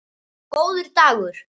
Góður dagur